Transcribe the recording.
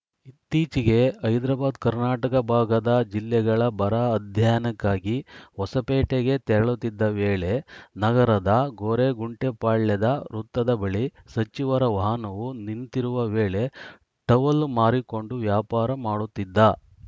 ಇತ್ತೀಚೆಗೆ ಹೈದರಬಾದ್‌ ಕರ್ನಾಟಕ ಭಾಗದ ಜಿಲ್ಲೆಗಳ ಬರ ಅಧ್ಯಯನಕ್ಕಾಗಿ ಹೊಸಪೇಟೆಗೆ ತೆರಳುತ್ತಿದ್ದ ವೇಳೆ ನಗರದ ಗೊರೆಗೊಂಟೆಪಾಳ್ಯದ ವೃತ್ತದ ಬಳಿ ಸಚಿವರ ವಾಹನವು ನಿಂತಿರುವ ವೇಳೆ ಟವಲ್‌ ಮಾರಿಕೊಂಡು ವ್ಯಾಪಾರ ಮಾಡುತ್ತಿದ್ದ